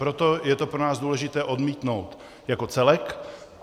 Proto je to pro nás důležité odmítnout jako celek.